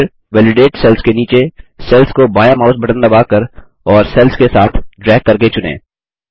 फिर validated cell के नीचे सेल्स को बायाँ माउस बटन दबाकर और सेल्स के साथ ड्रैग करके चुनें